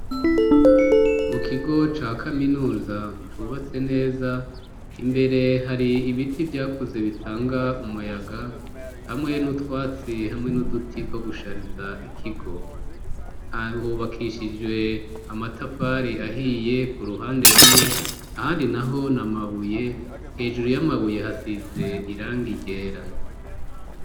Mu kigo ca kaminuza cubatse neza .Imbere hari ibiti vyakuze bitanga umuyaga hamwe n'utwatsi hamwe n'uduti two gushariza ikigo hahubakishijwe amatafari ahiye ku ruhande rumwe ahandi naho namabuye hejuru y'amabuye hasize irangi ryera.